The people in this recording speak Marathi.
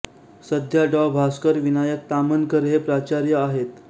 सध्या डॉ भास्कर विनायक ताम्हनकर हे प्राचार्य आहेत